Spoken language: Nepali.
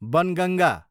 बनगङ्गा